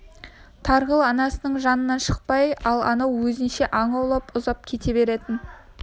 тарғыл анасының жанынан шықпай ал анау өзінше аң аулап ұзап кете беретін